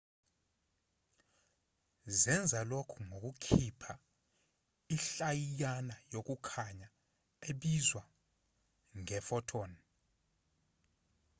zenza lokhu ngokukhipha inhlayiyana yokukhanya ebizwa nge-photon